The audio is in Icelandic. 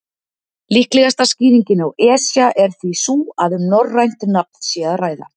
Líklegasta skýringin á Esja er því sú að um norrænt nafn sé að ræða.